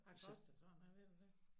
Hvad koster sådan en ved du det